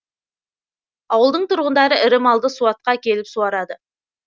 ауылдың тұрғындары ірі малды суатқа әкеліп суарады